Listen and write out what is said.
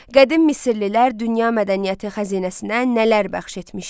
Qədim Misirlilər dünya mədəniyyəti xəzinəsinə nələr bəxş etmişdi?